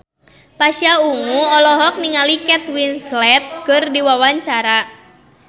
Pasha Ungu olohok ningali Kate Winslet keur diwawancara